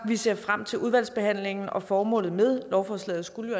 ser vi frem til udvalgsbehandlingen formålet med lovforslaget skulle jo